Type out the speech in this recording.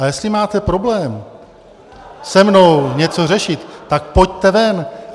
A jestli máte problém se mnou něco řešit, tak pojďte ven!